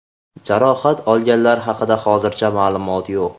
Jarohat olganlar haqida hozircha ma’lumot yo‘q.